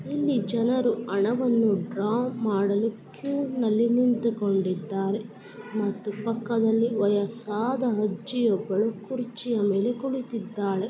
ಇಲ್ಲಿ ಜನರೂ ಅಣಬನ್ನು ಕಿವನಲ್ಲಿ ನಿಂತುಕೊಂಡಿದ್ದಾರೆ ಮತ್ತು ವಯಸ್ಸಾದ ಅಜ್ಜಿ ಒಬ್ಬಳು ಕುರ್ಚಿ ಮೇಲ್ ಕುಳಿತ್ತಿದಾಳೆ.